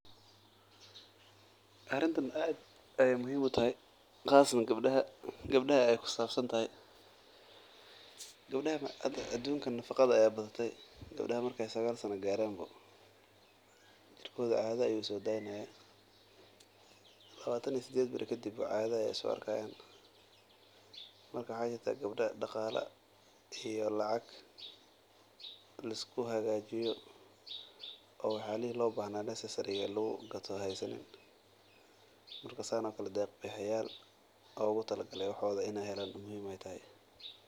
Arintan aad ayeey muhiim utahay qasatan gabdaha ayeey ku sabsan tahay adunka nafaqada ayaa badan gabdaha daqsi caada ayeey soo dadinayan waxaa jiraa deeq bixiyaan bixinayan waxooda.